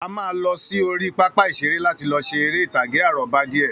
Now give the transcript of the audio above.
A máa lọ sí orí pápá ìṣeré láti lọ ṣe eré ìtàgé àrọ́bá díè.